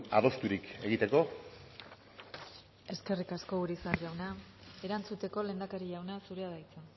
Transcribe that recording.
adosturik egiteko eskerrik asko urizar jauna erantzuteko lehendakari jauna zurea da hitza